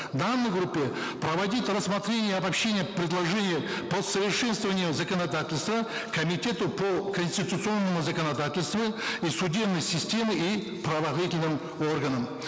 в данной группе проводить рассмотрение и обобщение предложений по усовершенствованию законодательства комитету по конституционному законодательству и судебной системе и правоохранительным органам